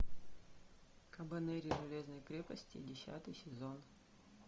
кабанери железной крепости десятый сезон